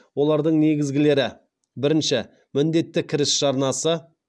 олардың негізгілері бірінші міндетті кіріс жарнасы